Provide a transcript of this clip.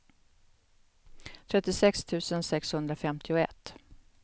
trettiosex tusen sexhundrafemtioett